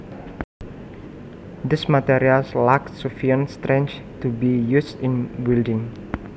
These materials lack sufficient strength to be used in building